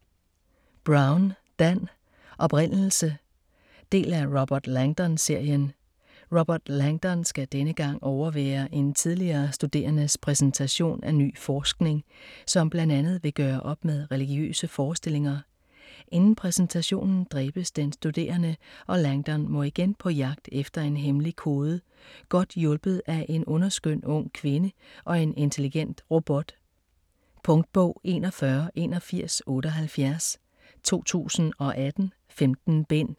Brown, Dan: Oprindelse Del af Robert Langdon-serien. Robert Langdon skal denne gang overvære en tidligere studerendes præsentation af ny forskning, som bl.a. vil gøre op med religiøse forestillinger. Inden præsentationen dræbes den studerende, og Langdon må igen på jegt efter en hemmelig kode godt hjulpet af en underskøn ung kvinde og en intelligent robot. Punktbog 418178 2018. 15 bind.